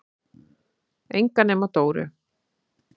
Enga nema Dóu.